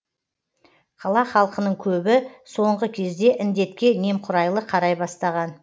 қала халқының көбі соңғы кезде індетке немқұрайлы қарай бастаған